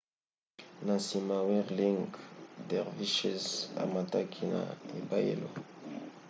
na nsima whirling dervishes amataki na ebayelo